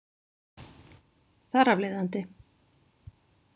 Þar af leiðandi.